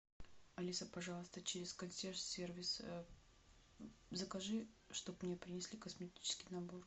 алиса пожалуйста через консьерж сервис закажи чтобы мне принесли косметический набор